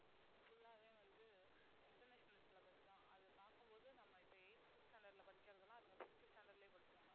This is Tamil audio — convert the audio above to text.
full ஆவே வந்து international syllabus தான் அது பார்க்கும் போது நம்ம இப்ப eighth standard ல படிக்கிறதெல்லாம் அதுங்க fifth standard லயே படிச்சுருங்க